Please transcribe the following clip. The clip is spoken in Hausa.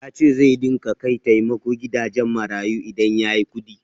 Ya ce zai dinga kai taimako gidajen marayu idan ya yi kuɗi.